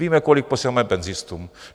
Víme, kolik posíláme penzistům.